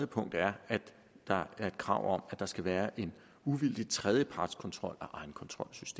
punkt er at der er krav om at der skal være en uvildig tredjepartskontrol